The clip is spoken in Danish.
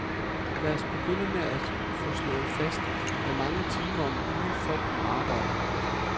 Lad os begynde med at få slået fast, hvor mange timer om ugen folk må arbejde.